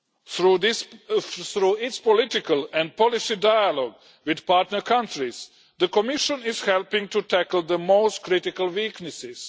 Through its political and policy dialogue with partner countries, the Commission is helping to tackle the most critical weaknesses.